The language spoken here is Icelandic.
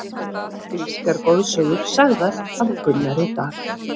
Grískar goðsögur sagðar af Gunnari Dal.